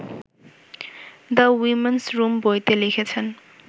‘the women's room’ বইতে লিখেছেন